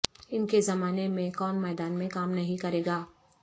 ان کے زمانے میں کون میدان میں کام نہیں کرے گا